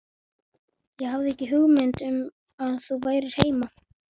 Ég hafði ekki hugmynd um að þú værir heima